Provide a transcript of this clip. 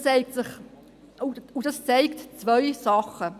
Dies zeigt zwei Dinge.